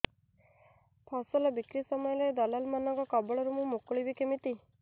ଫସଲ ବିକ୍ରୀ ସମୟରେ ଦଲାଲ୍ ମାନଙ୍କ କବଳରୁ ମୁଁ ମୁକୁଳିଵି କେମିତି